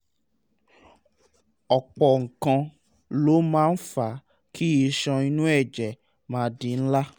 ọ̀pọ̀ nǹkan ló máa ń fa kí iṣan inú ẹ̀jẹ̀ máa di ńlá